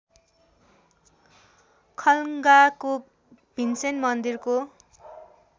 खलङ्गाको भीमसेन मन्दिरको